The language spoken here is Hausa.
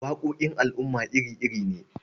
Waƙoƙin al'umma iri-iri ne.